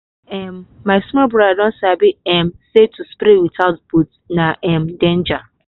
um my small brother don sabi um say to spray without boot na um danger.